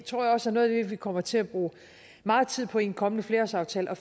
tror også at noget af det vi kommer til at bruge meget tid på i en kommende flerårsaftale er